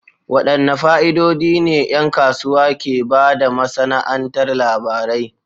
Wadanne fa'idodi ne 'yan kasuwa ke ba da masana'antar labarai?